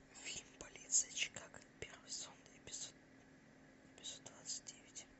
фильм полиция чикаго первый сезон эпизод эпизод двадцать девять